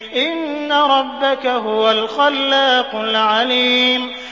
إِنَّ رَبَّكَ هُوَ الْخَلَّاقُ الْعَلِيمُ